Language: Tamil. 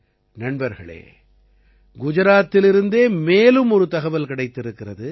நண்பர்களே குஜராத்திலிருந்தே மேலும் ஒரு தகவல் கிடைத்திருக்கிறது